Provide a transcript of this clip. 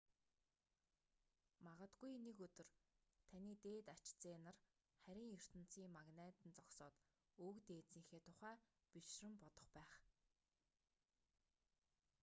магадгүй нэг өдөр таны дээд ач зээ нар харийн ертөнцийн магнайд нь зогсоод өвөг дээдсийнхээ тухай бишрэн бодох байх